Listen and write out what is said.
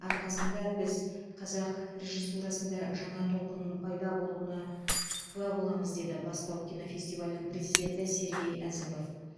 арқасында біз қазақ режиссурасында жаңа толқынның пайда болуына куә боламыз деді бастау кинофестивалінің президенті сергей әзімов